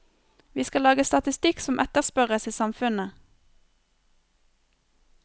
Vi skal lage statistikk som etterspørres i samfunnet.